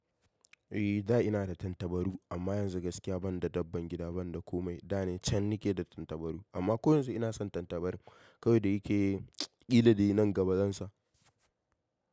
Eh da ina da tattabaru amma yanzu gaskiya ban da dabban gida ban da komai. Da ne can na ke da tattabaru amma ko yanzu ina son tattabaru. Kawai da yake ƙilla dai nan gaba zansa.